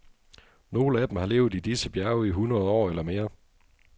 Nogle af dem har levet i disse bjerge i hundrede år eller mere.